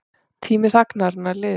Tími þagnarinnar liðinn